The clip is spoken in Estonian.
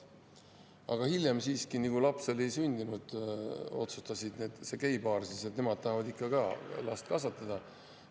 Aga hiljem siiski, kui laps oli sündinud, otsustas see geipaar, et nemad tahavad ikka ka last kasvatada.